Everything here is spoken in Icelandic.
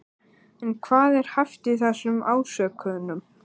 En hvað er hæft í þessum ásökunum?